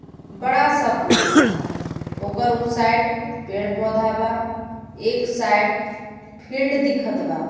बड़ा सा पुल बा ओकर ऊ साइड पेड़ पौधा बा एक साइड फिल्ड दिखत बा.